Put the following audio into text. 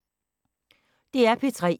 DR P3